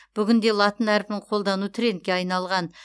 бүгінде латын әрпін қолдану трендке айналған